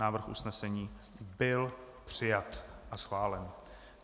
Návrh usnesení byl přijat a schválen.